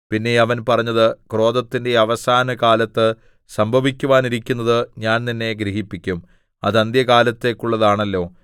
പിന്നെ അവൻ പറഞ്ഞത് ക്രോധത്തിന്റെ അവസാന കാലത്ത് സംഭവിക്കുവാനിരിക്കുന്നത് ഞാൻ നിന്നെ ഗ്രഹിപ്പിക്കും അത് അന്ത്യകാലത്തേക്കുള്ളതാണല്ലോ